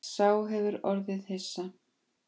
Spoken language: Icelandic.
Sá hefur orðið hissa